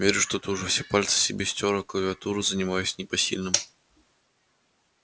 верю что ты уже все пальцы себе стер о клавиатуру занимаясь непосильным